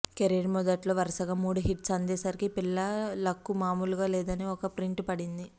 career మొదట్లో వరుసగా మూడు హిట్స్ అందేసరికి పిల్ల లక్కు మాములుగా లేదని ఒక ప్రింట్ పడింది